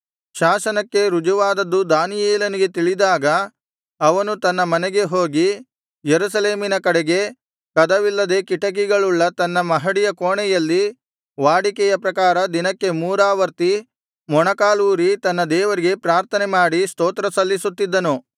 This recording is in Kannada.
ಶಾಸನಕ್ಕೆ ರುಜುವಾದದ್ದು ದಾನಿಯೇಲನಿಗೆ ತಿಳಿದಾಗ ಅವನು ತನ್ನ ಮನೆಗೆ ಹೋಗಿ ಯೆರೂಸಲೇಮಿನ ಕಡೆಗೆ ಕದವಿಲ್ಲದೆ ಕಿಟಕಿಗಳುಳ್ಳ ತನ್ನ ಮಹಡಿಯ ಕೋಣೆಯಲ್ಲಿ ವಾಡಿಕೆಯ ಪ್ರಕಾರ ದಿನಕ್ಕೆ ಮೂರಾವರ್ತಿ ಮೊಣಕಾಲೂರಿ ತನ್ನ ದೇವರಿಗೆ ಪ್ರಾರ್ಥನೆಮಾಡಿ ಸ್ತೋತ್ರ ಸಲ್ಲಿಸುತ್ತಿದ್ದನು